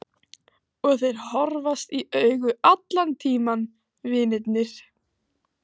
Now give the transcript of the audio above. Og þeir horfast í augu allan tímann vinirnir.